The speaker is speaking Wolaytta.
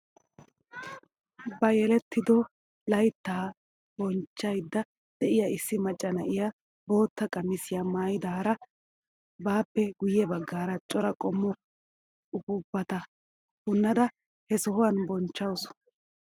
Ba yelettido layttaa bochchayda de'iyaa issi macca na'iyaa bootta qamisiyaa maayidaara baappe guye baggaara cora qommo upuupata punnada he sohuwaan bonchchawus!